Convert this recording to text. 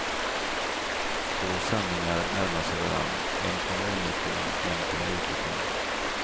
Två sanningar närmar sig varann, en kommer inifrån en kommer utifrån.